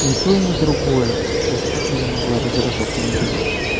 ни то и ни другое то есть как меня могла раздражать моя девушка